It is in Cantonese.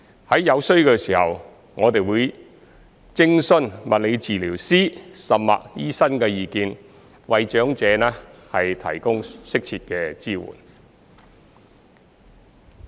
在有需要時，我們會徵詢物理治療師甚或醫生的意見為長者提供適切的支援。